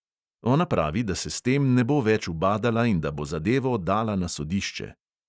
Ona pravi, da se s tem ne bo več ubadala in da bo zadevo dala na sodišče.